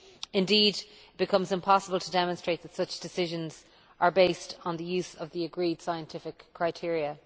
Indeed, it becomes impossible to demonstrate that such decisions are based on the use of the agreed scientific criteria.